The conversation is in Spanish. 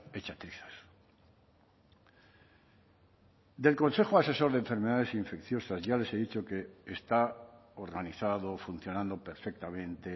hecha trizas del consejo asesor de enfermedades infecciosas ya les he dicho que está organizado funcionando perfectamente